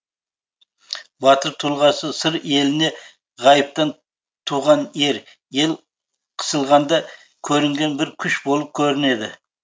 батыр тұлғасы сыр еліне ғайыптан туған ер ел қысылғанда көрінген бір күш болып көрінеді